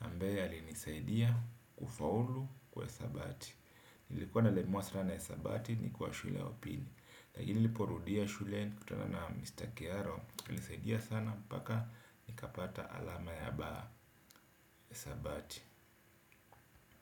ambaye alinisaidia kufaulu kwa hisabati. Nilikuwa nalemrwa sana ya hesabu, ni kwa shule ya upili. Nilipoirudia shule kutoka na Mr. Kiaro, alisaidia sana hadi nikapata alama ya hesabu.